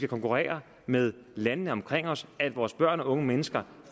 konkurrere med landene omkring os at vores børn og unge mennesker